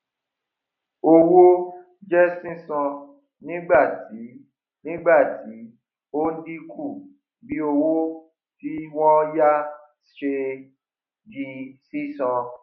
owó jẹ sísan nígbàtí nígbàtí ó ń dínkù bí owó tí wọn yá ṣe di sísan